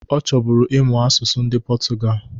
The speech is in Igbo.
Ọ chọbụrụ ịmụ asụsụ ndị pọtụgal